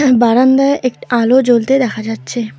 বারান্দায় একটা আলো জ্বলতে দেখা যাচ্ছে।